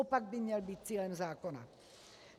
Opak by měl být cílem zákona.